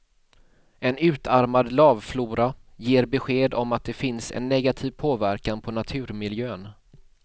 En utarmad lavflora ger besked om att det finns en negativ påverkan på naturmiljön.